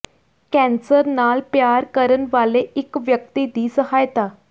cancer ਨਾਲ ਪਿਆਰ ਕਰਨ ਵਾਲੇ ਇਕ ਵਿਅਕਤੀ ਦੀ ਸਹਾਇਤਾ